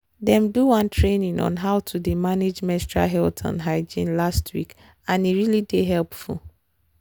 them do one training on how to dey manage menstrual health and hygiene last week and e really dey helpful.